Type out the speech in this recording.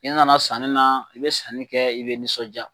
I nana sanni na i bɛ sanni kɛ i bɛ nisɔnja.